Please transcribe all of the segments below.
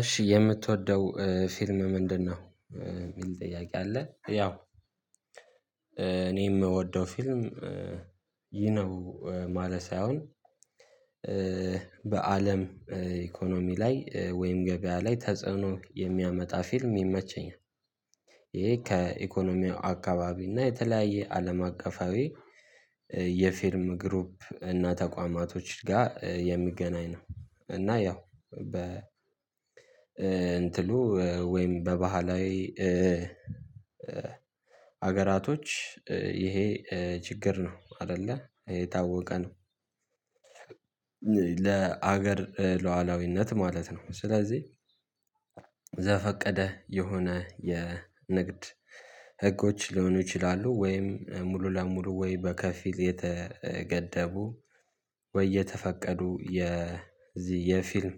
እሺ የምትወደው ፊልም ምንድነው? የሚል ጥያቄ አለ። ያው የምወደው ፊልም ይሄ ነው ማለት ሳይሆን በአለም ኢኮኖሚ ላይ ወይም ገበያ ላይ ተጽዕኖ የሚያመጣ ፊልም ይመቸኛል። ይሄ ከኢኮኖሚው አካባቢ እና የተለያየ አለም አቀፋዊ የፊርም ግሩፕ እና ተቋማቶች ጋር የሚገናኝ ነው። እና ያው በ እንትኑ ወይም በባህላዊ ሀገራቶች ይሄ ችግር ነው አይደለ ይሄ የታወቀ ነው። ለሀገር ሉዓላዊነት ማለት ነው። ስለዚህ ዘፈቀደ የሆነ የንግድ ህጎች ሊሆኑ ይችላሉ ወይም ሙሉ ለሙሉ ወይ በከፊል የተገደቡ ወይ የተፈቀዱ የዚህ የፊልም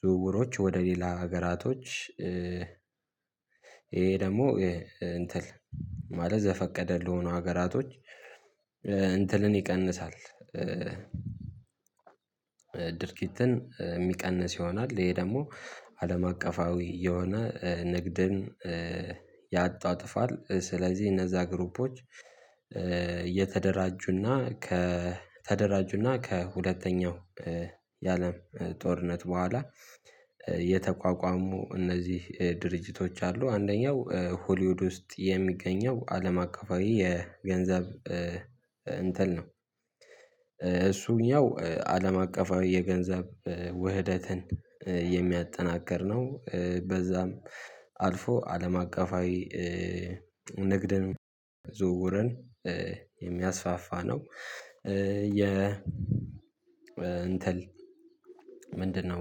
ዝውውሮች ወደ ሌላ ሀገራቶች ይሄ ደግሞ እንትን ማለት ዘፈቀደ ለሆነ ሀገራቶች እንትንን ይቀንሳል። ድርጊትን የሚቀንስ ይሆናል ይሄ ደግሞ አለም አቀፋዊ የሆነ ንግድን ያጧጥፋል። ስለዚህ እነዛ ግሩፖች እየተደራጁና ከ ተደራጁና ከ ሁለተኛው የአለም ጦርነት በኋላ የተቋቋሙ እነዚህ ድርጅቶች አሉ። አንደኛው ሆሊውድ ውስጥ የሚገኘው አለም አቀፋዊ የገንዘብ እንትን ነው። እሱኛው አለም አቀፋዊ የገንዘብ ውህደትን የሚያጠናክር ነው። በዛም አልፎ አለም አቀፋዊ ንግድን ዝውውርን የሚያስፋፋ ነው። የ እንትን ምንድነው?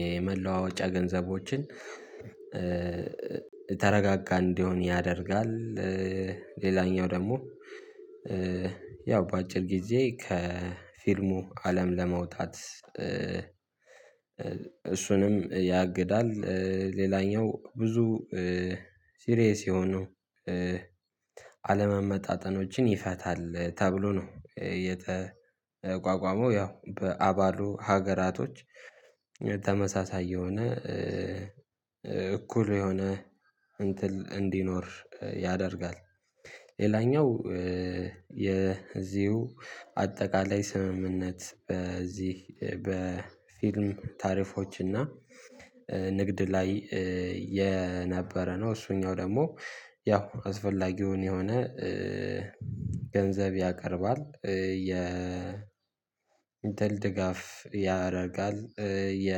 የመላዋወጫ ገንዘቦችን የተረጋጋ እንዲሆን ያደርጋል። ሌላኛው ደግሞ ያው በአጭር ጊዜ ከፊልሙ አለም ለመውጣት እሱንም ያግዳል። ሌላኛው ብዙ ሲሪየስ የሆኑ አለመመጣጠኖችን ይፈታል ተብሎ ነው የተቋቋመው ያው በአባሉ ሀገራቶች ተመሳሳይ የሆነ እኩል የሆነ እንትን እንዲኖር ያደርጋል። የዚሁ አጠቃላይ ስምምነት በዚህ በፊልም ታሪፎች እና ንግድ ላይ የነበረ ነው። እሱኛው ደግሞ ያው አስፈላጊውን የሆነ ገንዘብ ያቀርባል። የ ድል ድጋፍ ያደርጋል የ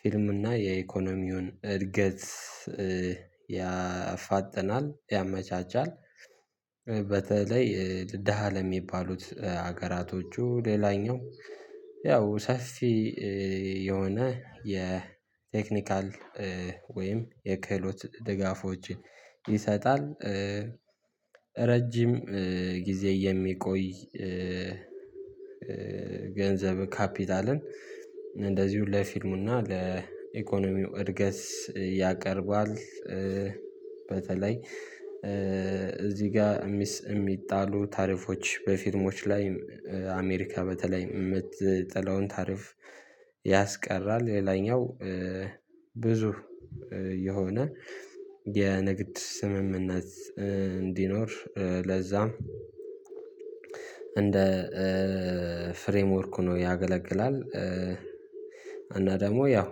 ፊልም እና የኢኮኖሚውን እድገት ያፋጥናል ያመቻቻል። በተለይ ደሃ ለሚባሉት ሀገራቶቹ ሌላኛው ያው ሰፊ የሆነ የቴክኒካል ወይም የክህሎት ድጋፎችን ይሰጣል። ረጅም ጊዜ የሚቆይ ገንዘብ ካፒታልን እንደዚህ ሁሉ ለፊልሙና ለኢኮኖሚው እድገት ያቀርባል። በተለይ እዚህ ጋር የሚጣሉ ታሪፎች በፊልሞች ላይ አሜሪካ በተለይ የምትጥለውን ታሪፍ ያስቀራል። ሌላኛው ብዙ የሆነ የንግድ ስምምነት እንዲኖር ለዛም እንደ ፍሬምወርኩ ሁኖ ያገለግላል። እና ደግሞ ያው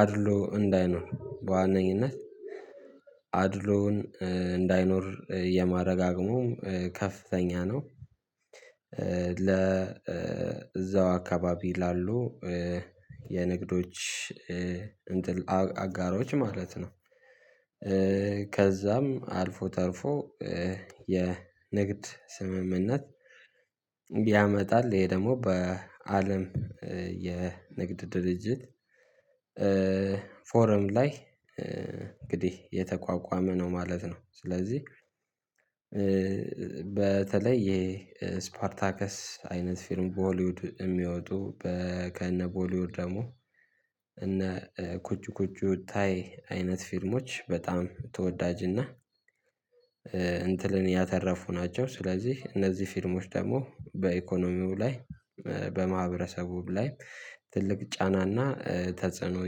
አድሎ እንዳይኖር በዋነኝነት አድሎውን እንዳይኖር የማረጋገጡም ከፍተኛ ነው። ለ እዛው አካባቢ ላሉ የንግዶች እንትን አጋሮች ማለት ነው። ከዛም አልፎ ተርፎ የንግድ ስምምነት ያመጣል። ይሄ ደግሞ በአለም የንግድ ድርጅት ፎረም ላይ እንግዲህ የተቋቋመ ነው ማለት ነው። ስለዚህ በተለይ የስፓርታከስ አይነት ፊርም በሆሊውድ የሚወጡ ከነቦሊውድ ደግሞ እነ ኩጭ ኩጭ ታይ አይነት ፊልሞች በጣም ተወዳጅና እንትንን ያተረፉ ናቸው። ስለዚህ እነዚህ ፊርሞች ደግሞ በኢኮኖሚው ላይ በማህበረሰቡ ላይ ትልቅ ጫናና ተጽዕኖ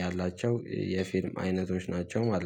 ያላቸው የፊልም አይነቶች ናቸው ማለት ነው